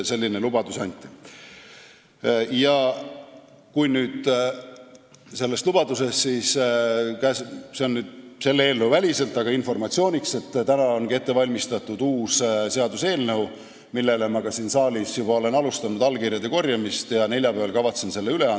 Kui rääkida veel sellest lubadusest, seda küll selle eelnõu väliselt, siis ütlen informatsiooniks, et ongi ette valmistatud uus seaduseelnõu, millele ma siin saalis juba olen alustanud allkirjade korjamist ja kavatsen selle neljapäeval üle anda.